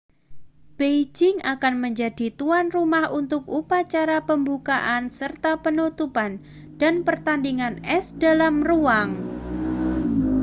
beijing akan menjadi tuan rumah untuk upacara pembukaan serta penutupan dan pertandingan es dalam ruangan